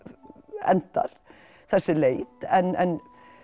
endar þessi leit en